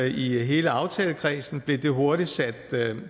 i hele aftalekredsen blev det hurtigt